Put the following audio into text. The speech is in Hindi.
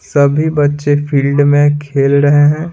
सभी बच्चे फील्ड में खेल रहे हैं।